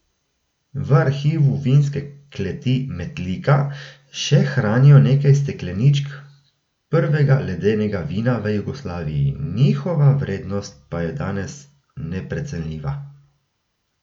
V arhivu Vinske kleti Metlika še hranijo nekaj stekleničk prvega ledenega vina v Jugoslaviji, njihova vrednost pa je danes neprecenljiva.